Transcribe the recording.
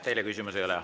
Teile küsimusi ei ole.